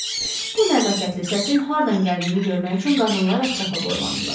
Bu nəzakətli səsin hardan gəldiyini görmək üçün qadınlar ətrafa boylandılar.